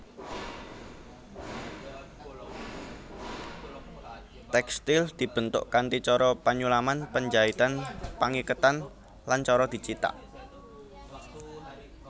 Tèkstil dibentuk kanthi cara penyulaman penjaitan pangiketan lan cara dicithak